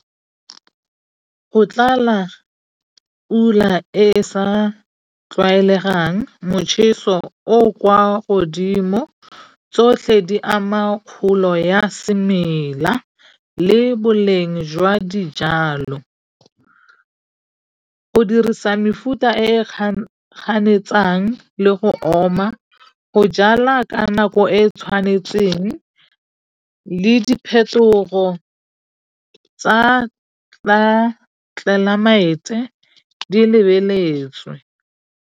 Go tlala pula e sa tlwaelegang motjheso o o kwa godimo tsotlhe di ama kgolo ya semela le boleng jwa dijalo. Go dirisa mefuta e e ganetsang le go oma, go jala ka nako e e tshwanetseng le diphetogo tsa tlelaemete di lebeletswe.